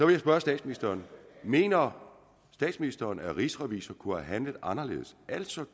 vil spørge statsministeren mener statsministeren at rigsrevisor kunne handle anderledes altså